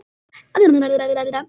Var að koma heim.